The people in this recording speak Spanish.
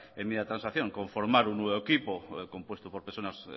enmienda de transacción conformar un nuevo equipo compuesto por personas